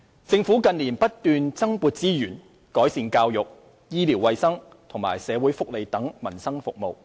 政府近年不斷增撥資源，改善教育、醫療衞生和社會福利等民生服務。